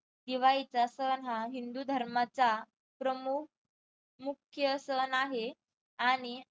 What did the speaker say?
दिवाळीचा सण हा हिंदू धर्माचा प्रमुख मुख्य सण आहे. आणि